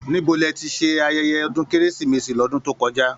Níbo ní ẹ tí ṣe ayẹyẹ ọdún kérésìmesì l'ọdun to kọjá?